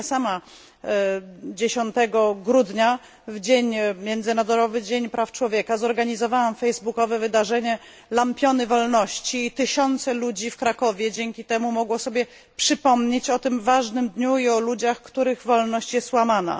Ja sama 10 grudnia w Międzynarodowy Dzień Praw Człowieka zorganizowałam facebookowe wydarzenie Lampiony Wolności i tysiące ludzi w Krakowie dzięki temu mogło sobie przypomnieć o tym ważnym dniu i o ludziach, których wolność jest łamana.